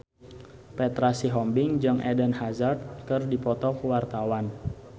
Petra Sihombing jeung Eden Hazard keur dipoto ku wartawan